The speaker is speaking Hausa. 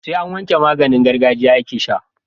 Sai an wanke maganin gargajiya ake sha